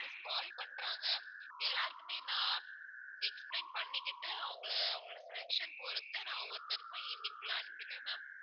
customers call பண்றாங்க எல்லார்க்குமே நான் explain பண்ணிக்கிட்டு அவங்களை அவங்களோட selection பொறுத்து நான் ஒவ்வொருத்தருக்கும் evening குள்ள அனுப்பிடுவேன் ma'am